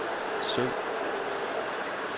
søg